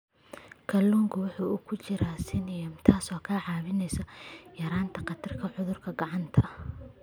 Kalluunka waxaa ku jira selenium, taas oo ka caawisa yaraynta khatarta cudurada gacanta.